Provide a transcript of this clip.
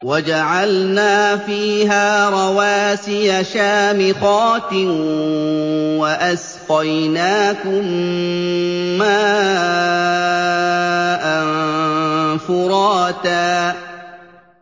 وَجَعَلْنَا فِيهَا رَوَاسِيَ شَامِخَاتٍ وَأَسْقَيْنَاكُم مَّاءً فُرَاتًا